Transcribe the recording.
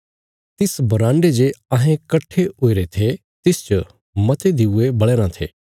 तिस बराण्डे जे अहें कट्ठे हुईरे थे तिसच मते दिऊये बल़या राँ थे